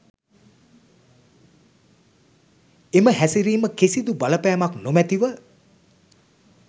එම හැසිරිම කිසිදු බලපෑමක් නොමැතිව